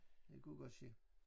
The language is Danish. Det kunne godt ske